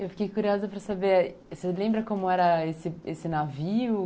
Eu fiquei curiosa para saber, você lembra como era esse esse navio?